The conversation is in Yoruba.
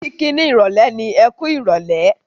Kiki ni ìrọ̀lẹ́ ni "Ẹkú ìrọ̀lẹ́".